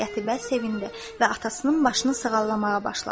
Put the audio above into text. Qətibə sevindi və atasının başını sığallamağa başladı.